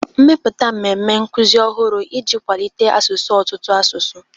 Mepụta mmemme nkuzi ọhụrụ iji kwalite asụsụ ọtụtụ asụsụ